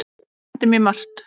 Hann kenndi mér margt.